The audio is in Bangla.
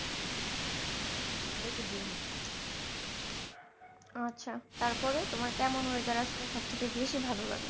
আচ্ছা তারপরে তোমার কেমন weather আসলে সব থেকে বেশি ভালো লাগে?